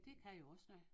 Det kan jo også noget